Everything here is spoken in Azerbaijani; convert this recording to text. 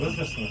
İmkan?